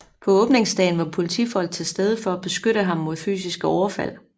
På åbningsdagen var politifolk til stede for at beskytte ham mod fysiske overfald